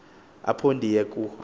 apho ndiye ku